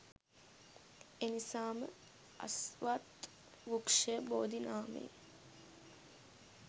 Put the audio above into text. එනිසාම අස්වත්, වෘක්ෂය බෝධි නාමයෙන්